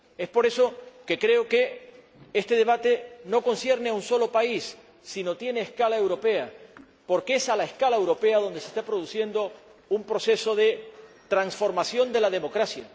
Por eso creo que este debate no concierne a un solo país, sino que tiene una dimensión europea, porque es a escala europea donde se está produciendo un proceso de transformación de la democracia.